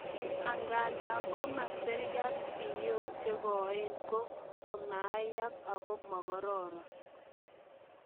Angandan komoseriat, siyok chekoen ko komaayak ako mokororon.